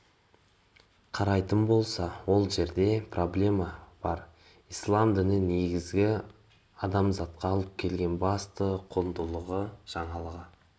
қарайтын болса ол жерде проблема бар ислам діні негізі адамзатқа алып келген басты құндылығы жаңалығы